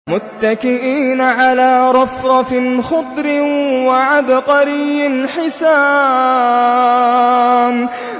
مُتَّكِئِينَ عَلَىٰ رَفْرَفٍ خُضْرٍ وَعَبْقَرِيٍّ حِسَانٍ